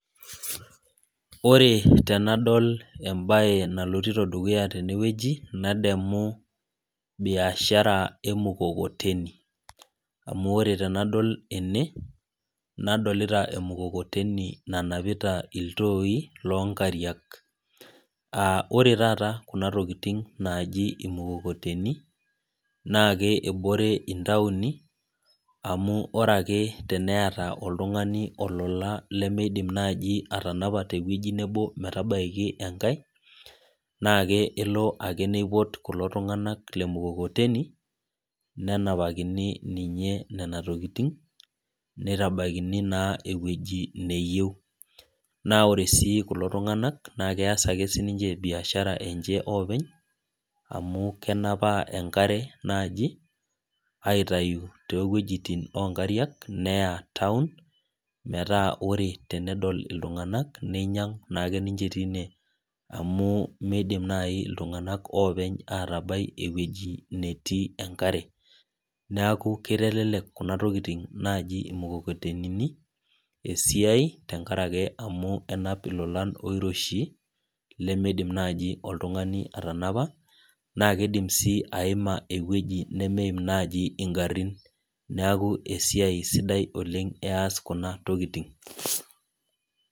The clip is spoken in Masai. Ore tenadol ebae nalotito dukuya tenewueji, nademu biashara emukokoteni. Amu ore tenadol tene, nadolita emukokoteni nanapita iltooi, lonkariak. Ah ore taata kuna tokiting naji imukokoteni, naake ebore intaoni, amu ore ake teneeta oltung'ani olola lemeidim naji atanapa tewueji nebo metabaiki enkae, nake elo ake neipot kulo tung'anak lemukokoteni, nenapakini ninye nena tokiting, nitabakini naa ewueji neyieu. Na ore si kulo tung'anak, na kees ake sininche biashara enche oopeny, amu kenapa enkare naji, aitayu towuejiting onkariak neya taon, metaa ore tenedol iltung'anak neinyang' naake teine amu meidim nai iltung'anak openy atabai ewueji netii enkare. Neeku kitelelek kuna tokiting naji emukokotenini esiai tenkaraki amu enap ilolan oiroshi, lemeidim naji oltung'ani atanapa, na kidim si aima ewueji nemeim naji igarrin. Neeku esiai sidai oleng ees kuna tokiting.